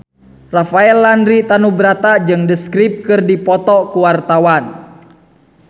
Rafael Landry Tanubrata jeung The Script keur dipoto ku wartawan